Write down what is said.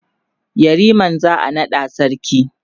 yariman za'a naɗa sarki